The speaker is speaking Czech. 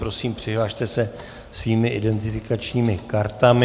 Prosím, přihlaste se svými identifikačními kartami.